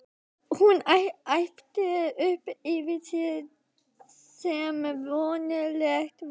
Hún æpti upp yfir sig sem vonlegt var.